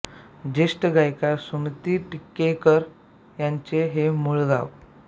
ज्येष्ठ गायिका सुमती टिकेकर यांचे हे मूळ गाव